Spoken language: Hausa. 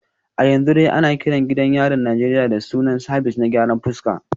A yanzu dai ana kiran gidan yarin Najeriya da sunan Sabis na gyaran fuska